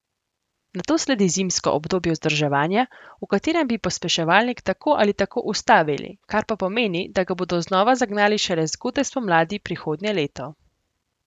Nato sledi zimsko obdobje vzdrževanja, v katerem bi pospeševalnik tako ali tako ustavili, kar pa pomeni, da ga bodo znova zagnali šele zgodaj spomladi prihodnje leto.